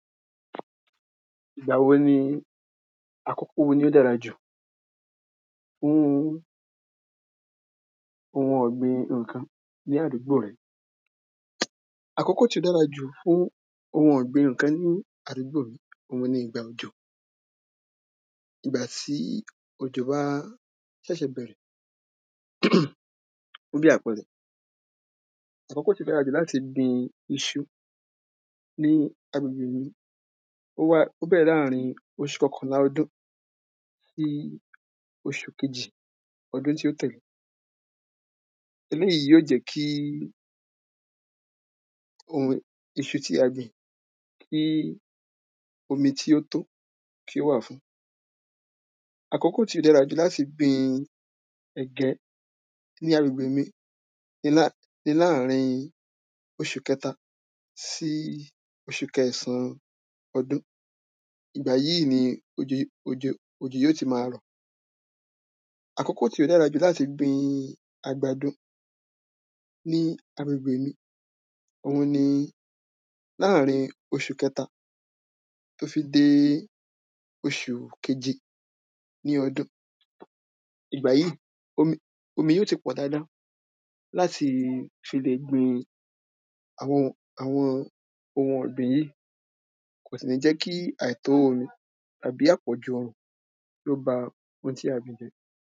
ìgbà wo ni, àkókò wo ni ó dára jù fún oun ọ̀gbìn ǹkan ní àdúgbò rẹ, àkókò tí ó dára jù fún oun ọ̀gbìn ǹkan ní àdúgbò mi, òun ni ìgbà òjò, ìgbà tí òjò bá sẹ̀sẹ̀ bẹ̀rẹ̀, bí àpẹẹrẹ, àkókò to dára jù láti gbin isu ní agbègbè mi, ó wà, ó bẹrẹ láàrin osù kankànlá ọdún sí osù kejì ọdún tí ó tẹ̀le eléyìí yóò jẹ́kí, oun, isu tí a gbìn kí omi tí ó tó, kí ó wà fun àkókò to dára jù láti gbin ẹ̀gẹ́ ní agbègbè mi, ni láàrin osù kẹta sí osù kẹẹ̀sán ọdún, ìgbà yíì ni òjò, òjò, òjò ó ti ma rọ̀, àkókò tó dára jù láti gbin àgbàdo ní agbègbè mi, òun ni láàrin osù kẹta tó fi dé osù keje ní ọdún, ìgbà yí, omi yó ti pọ̀ dada láti fi lè gbin àwọn, àwọn oun ọgbin yí, kòsì ní jẹ́kí àìtó omi àbí àpọ̀jù òrùn kí ó ba oun tí a gbìn jẹ́.